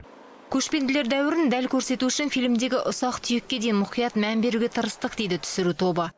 көшпенділер дәуірін дәл көрсету үшін фильмдегі ұсақ түйекке дейін мұқият мән беруге тырыстық дейді түсіру тобы